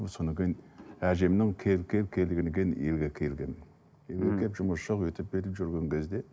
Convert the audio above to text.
содан кейін әжемнің кел кел кел дегеннен кейін елге келгенмін үйге келіп жұмыс жоқ өйтіп бүйтіп жүрген кезде